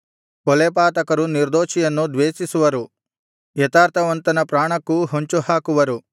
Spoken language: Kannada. ಕೊಲೆಪಾತಕರು ನಿರ್ದೋಷಿಯನ್ನು ದ್ವೇಷಿಸುವರು ಯಥಾರ್ಥವಂತನ ಪ್ರಾಣಕ್ಕೂ ಹೊಂಚುಹಾಕುವರು